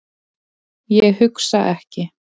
Ég hugsa ekki.